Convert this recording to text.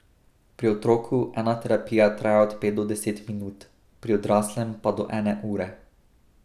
Pri otroku ena terapija traja od pet do deset minut, pri odraslem pa do ene ure.